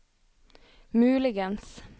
muligens